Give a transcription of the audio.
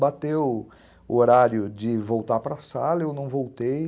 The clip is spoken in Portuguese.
Bateu o horário de voltar para a sala, eu não voltei.